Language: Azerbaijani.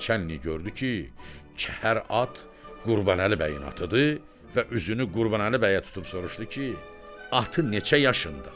Naçalnik gördü ki, kəhər at Qurbanəli bəyin atıdır və üzünü Qurbanəli bəyə tutub soruşdu ki, atı neçə yaşındadır?